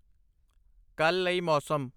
ਕੱਲ੍ਹ ਲਈ ਮੌਸਮ।